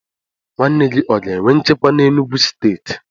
Nwanne gi o ga enwe nchekwa n'Enugwu steeti?